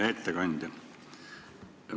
Hea ettekandja!